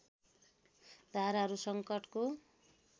धाराहरू सङ्कटको